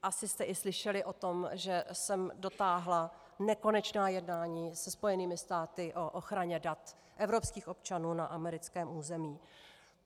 Asi jste i slyšeli o tom, že jsem dotáhla nekonečná jednání se Spojenými státy o ochraně dat evropských občanů na americkém území.